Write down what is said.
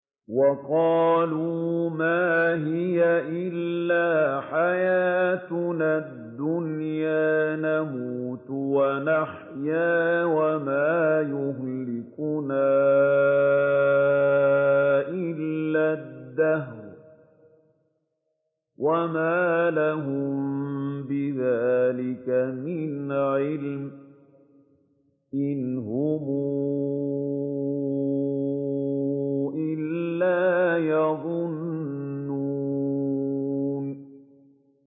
وَقَالُوا مَا هِيَ إِلَّا حَيَاتُنَا الدُّنْيَا نَمُوتُ وَنَحْيَا وَمَا يُهْلِكُنَا إِلَّا الدَّهْرُ ۚ وَمَا لَهُم بِذَٰلِكَ مِنْ عِلْمٍ ۖ إِنْ هُمْ إِلَّا يَظُنُّونَ